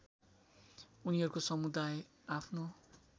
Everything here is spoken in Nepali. उनीहरूको समुदाय आफ्नो